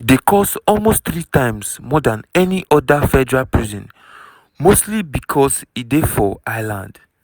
e dey cost almost three times more dan any oda federal prison mostly becos e dey for island.